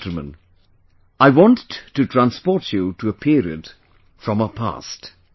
My dear countrymen, I want to transport you to a period from our past